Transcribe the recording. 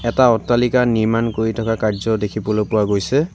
এটা অট্টালিকা নিৰ্মাণ কৰি থকা কাৰ্য্য দেখিবলৈ পোৱা গৈছে।